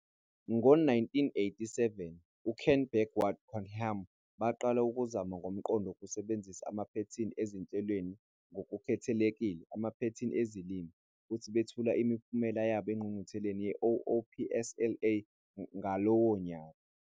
Ngo-1987, uKent Beck noWard Cunningham baqala ukuzama ngomqondo wokusebenzisa amaphethini ezinhlelweni - ngokukhethekile amaphethini ezilimi - futhi bethula imiphumela yabo engqungqutheleni ye-OOPSLA ngalowo nyaka.